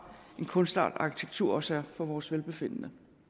en kunstart arkitektur også er for vores velbefindende